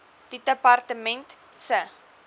die departement se